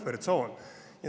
Me ei ole puhvertsoon.